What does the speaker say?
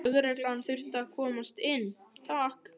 Lögreglan þurfti að komast inn, takk!